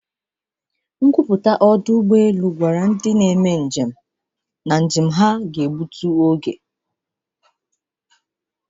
Nkwupụta ọdụ ụgbọ elu gwara ndị njem gbasara igbu oge ụgbọ elu ahụ.